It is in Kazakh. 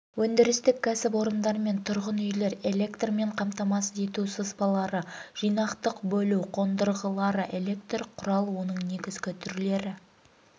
өндірістік кәсіпорындар мен тұрғын үйлер электрмен қамтамасыз ету сызбалары жинақтық бөлу қондырғылары электр құрал оның негізгі түрлері